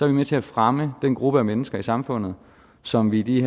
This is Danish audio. vi med til at fremme den gruppe af mennesker i samfundet som vi i de